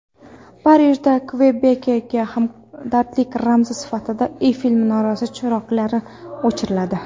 Parijda Kvebekka hamdardlik ramzi sifatida Eyfel minorasi chiroqlari o‘chiriladi.